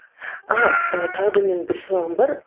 ааа ы тағы да менің бір сұрағым бар